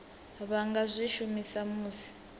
vha nga zwi shumisa musi